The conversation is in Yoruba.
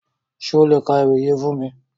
Ṣe o le ka ewi yii fun mi?